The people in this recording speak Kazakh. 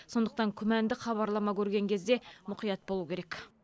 сондықтан күмәнді хабарлама көрген кезде мұқият болу керек